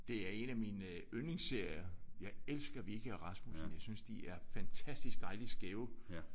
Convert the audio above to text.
Det er en af mine yndlingsserier. Jeg elsker Wikke og Rasmussen. Jeg synes de er fantastisk dejligt skæve